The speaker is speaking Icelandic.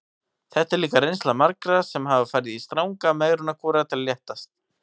Þetta er líka reynsla margra sem hafa farið í stranga megrunarkúra til að léttast.